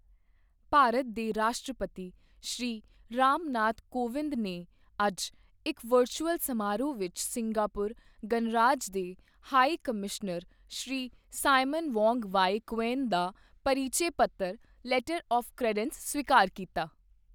ਭਾਰਤ ਦੇ ਰਾਸ਼ਟਰਪਤੀ, ਸ੍ਰੀ ਰਾਮ ਨਾਥ ਕੋਵਿੰਦ ਨੇ ਅੱਜ ਇੱਕ ਵਰਚੁਅਲ ਸਮਾਰੋਹ ਵਿੱਚ ਸਿੰਗਾਪੁਰ ਗਣਰਾਜ ਦੇ high commissioner Shri Simon Wong Wai Kuen ਦਾ ਪਰਿਚੈ ਪੱਤਰ ਲੈਟਰ ਆੱਫ ਕ੍ਰੇਡੈਂਸ ਸਵੀਕਾਰ ਕੀਤਾ।